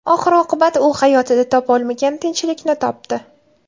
Oxir-oqibat u hayotida topa olmagan tinchlikni topdi.